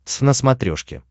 твз на смотрешке